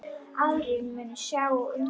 Aðrir munu sjá um það.